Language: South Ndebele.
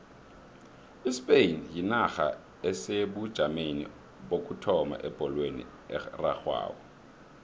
ispain yinarha esebujameni bokuthoma ebholweni erarhwako